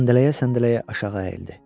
Səndələyə-səndələyə aşağı əyildi.